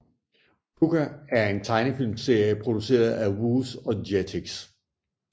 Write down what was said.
Pucca er en tegnefilmserie produceret af Vooz og Jetix